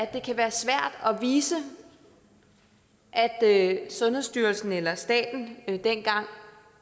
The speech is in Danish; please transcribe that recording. vise at sundhedsstyrelsen eller staten dengang